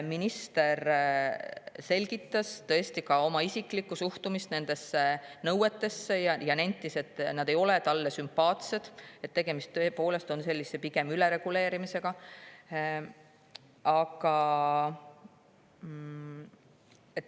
Minister ka oma isiklikku suhtumist nendesse nõuetesse ja nentis, et need ei ole talle sümpaatsed ning et tegemist on tõepoolest pigem ülereguleerimisega.